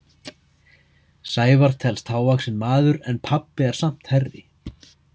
Sævar telst hávaxinn maður en pabbi er samt hærri.